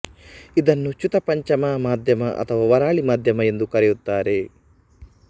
ಇದನ್ನು ಚ್ಯುತ ಪಂಚಮ ಮಧ್ಯಮ ಅಥವಾ ವರಾಳಿ ಮಧ್ಯಮ ಎಂದು ಕರೆಯುತ್ತಾರೆ